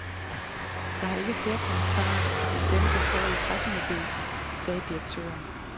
Jeg har ikke flere kommentarer end dem, der står i pressemeddelelsen, sagde direktøren.